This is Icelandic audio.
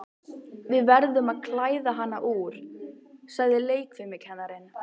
Við verðum að klæða hana úr, sagði leikfimikennarinn.